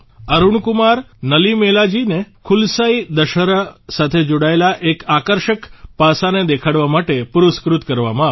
અરૂણ કુમાર નલીમેલાજીને કુલસાઇ દશહરા સાથે જોડાયેલા એક આકર્ષક પાસાને દેખાડવા માટે પુરસ્કૃત કરવામાં આવ્યા